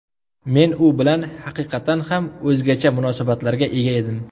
Men u bilan haqiqatan ham o‘zgacha munosabatlarga ega edim.